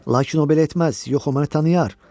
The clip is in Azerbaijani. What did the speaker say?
Lakin o belə etməz, yox, o məni tanıyır.